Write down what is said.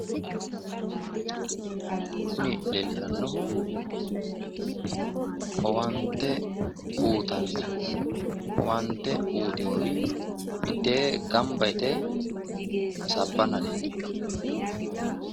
Kuni leellishannohu owaante uuyitinori mitteeenni gambba yite hasaabbanna leellishanno.